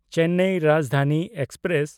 Chennai Rajdhani express